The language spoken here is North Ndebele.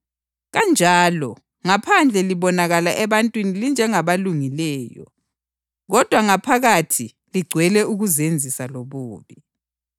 Kanjalo, ngaphandle libonakala ebantwini linjengabalungileyo, kodwa ngaphakathi ligcwele ukuzenzisa lobubi.